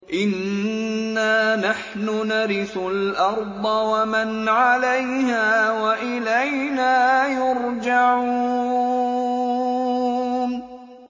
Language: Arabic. إِنَّا نَحْنُ نَرِثُ الْأَرْضَ وَمَنْ عَلَيْهَا وَإِلَيْنَا يُرْجَعُونَ